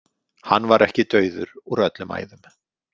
Hann var ekki dauður úr öllum æðum.